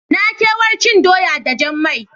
Na kewar cin doya da jan mai.